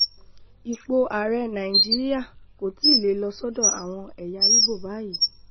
ipò ààrẹ nàìjíríà kò tí ì lè lọ sọ́dọ̀ àwọn ẹ̀yà igbó báyìí